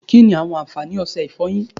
Kínni àwọn àǹfààní ọsẹ ìfọyín?